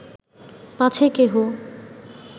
পাছে কেহ